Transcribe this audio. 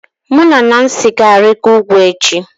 Mụ na Nancy ga-arịgo ugwu echi